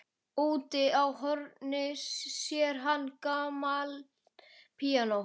Úti í horni sér hann gamalt píanó.